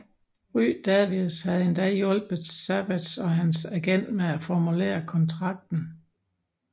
Ray Davies havde endda hjulpet Savage og hans agent med at formulere kontrakten